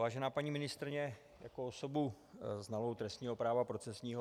Vážená paní ministryně, jako osobu znalou trestního práva procesního...